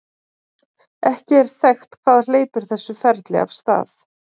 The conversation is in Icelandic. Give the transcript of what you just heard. ekki er þekkt hvað hleypir þessu ferli af stað